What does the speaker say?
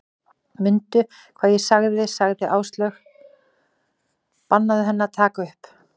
Mundu hvað ég sagði sagði Áslaug, bannaðu henni að taka upp